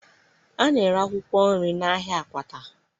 A na-ere akwụkwọ nri n'ahịa Akwata